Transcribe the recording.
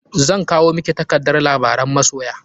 Zan kwao miki takardar labaran masoya.